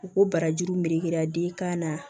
U ko barajuru melekera den kan na